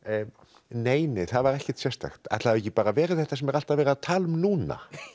nei nei það var ekkert sérstakt ætli það hafi ekki bara verið þetta sem er alltaf verið að tala um núna